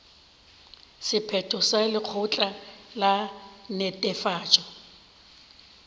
sephetho sa lekgotla la netefatšo